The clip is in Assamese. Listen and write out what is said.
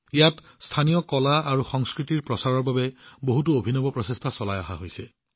ইয়াত স্থানীয় কলা আৰু সংস্কৃতিৰ প্ৰচাৰৰ বাবে বহুতো অভিনৱ প্ৰচেষ্টাও হাতত লোৱা দেখা হৈছে